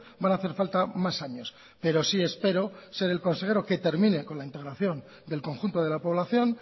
van a hacer falta más años pero si espero ser el consejero que termine con la integración del conjunto de la población